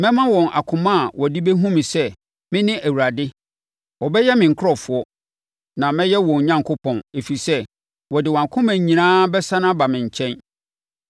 Mɛma wɔn akoma a wɔde bɛhunu me sɛ, me ne Awurade. Wɔbɛyɛ me nkurɔfoɔ, na mɛyɛ wɔn Onyankopɔn, ɛfiri sɛ, wɔde wɔn akoma nyinaa bɛsane aba me nkyɛn.